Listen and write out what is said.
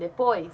Depois?